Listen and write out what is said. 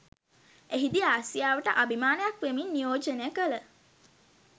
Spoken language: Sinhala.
එහිදී ආසියාවට අභිමානයක් වෙමින් නියෝජනය කළ